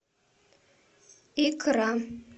икра